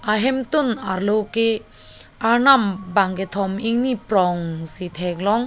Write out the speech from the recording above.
ahemtun arlo ke arnam bang kethom ingni prong si theklong.